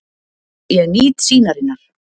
Ég nýt sýnarinnar.